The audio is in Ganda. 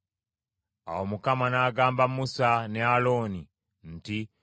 Awo Mukama n’agamba Musa ne Alooni nti,